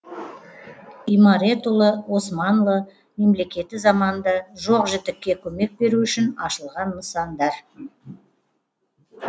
имарет ұлы османлы мемлекеті заманында жоқ жітікке көмек беру үшін ашылған нысандар